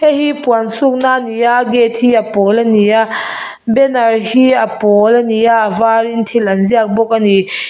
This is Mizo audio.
heihi puan suk na ani a gate hi a pawl ani a banner hi a pawl ani a var in thil an ziak bawk ani.